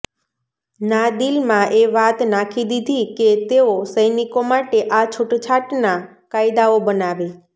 ના દીલમાં એ વાત નાખી દીધી કે તેઓ સૈનિકો માટે આ છુટછાટના કાયદાઓ બનાવે